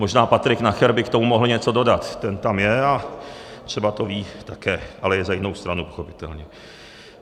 Možná Patrik Nacher by k tomu mohl něco dodat, ten tam je a třeba to ví také, ale je za jinou stranu, pochopitelně.